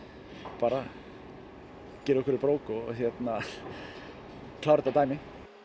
aðbara girða okkur í brók og klára þetta dæmi